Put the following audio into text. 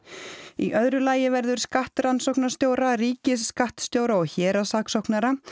í öðru lagi verður skattrannsóknarstjóra ríkisskattstjóra og héraðssaksóknara